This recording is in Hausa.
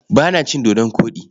Ba na cin dodon koɗi.